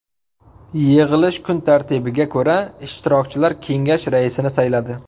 Yig‘ilish kun tartibiga ko‘ra, ishtirokchilar kengash raisini sayladi.